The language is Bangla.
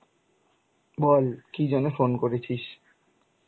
বল কি জন্যে phone করেছিস?